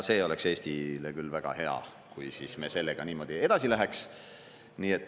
See oleks Eestile küll väga hea, kui me sellega niimoodi edasi läheks.